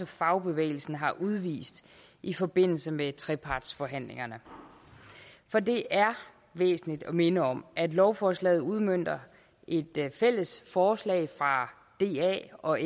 fagbevægelsen har udvist i forbindelse med trepartsforhandlingerne for det er væsentligt at minde om at lovforslaget udmønter et fælles forslag fra da og